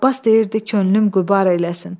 Abbas deyirdi könlüm qübar eyləsin.